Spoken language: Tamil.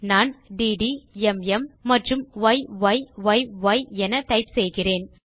நான் டிடி ம் மற்றும் ய்யி என டைப் செய்கிறேன்